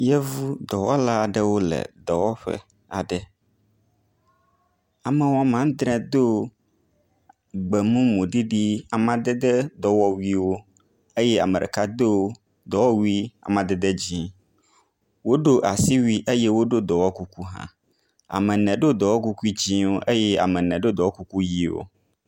Yevu dɔwɔla aɖewo le dɔwɔƒe aɖe, ame woame adre do gbe mumu ɖiɖi, amadede dɔwɔwuiwo eye ame ɖeka do amadede dɔwɔwui amadede dzɛ̃. Woɖo asiwui eye woɖo dɔwɔ kuku hã. Ame ene ɖo dɔwɔkuku dzɛ̃wo eye ame ene ɖo dɔwɔkuku ʋɛ̃wo.